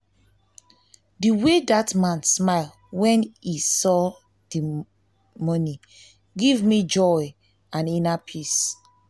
the way dat man smile wen he saw the money give me joy and inner peace